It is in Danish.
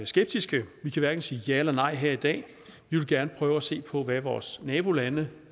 skeptiske vi kan hverken sige ja eller nej her i dag vi vil gerne prøve at se på hvad vores nabolande